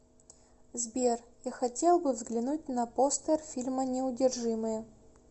сбер я хотел бы взглянуть на постер фильма неудержимые